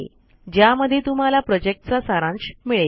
ज्यामध्ये तुम्हाला प्रॉजेक्टचा सारांश मिळेल